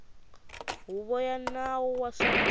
huvo ya nawu wa swa